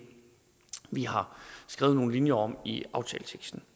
vi har skrevet nogle linjer om i aftaleteksten